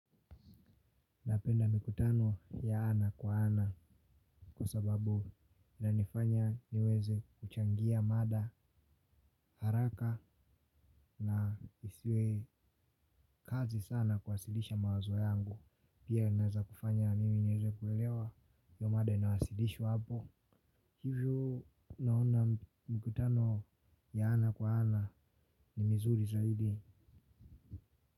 Napenda mikutano ya ana kwa ana. Kwa sababu inanifanya niweze kuchangia mada haraka na isiwe kazi sana kuwasilisha mawazo yangu. Pia inaeza kufanya mimi nieze kuelewa hio mada inawasilishwa hapo. Hivyo naona mikutano ya ana kwa ana ni mizuri zaidi.